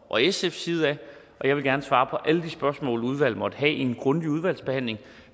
og sfs side jeg vil gerne svare på alle de spørgsmål udvalget måtte have i en grundig udvalgsbehandling